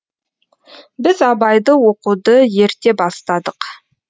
біз абайды оқуды ерте бастадық